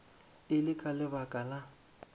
e le ka lebaka la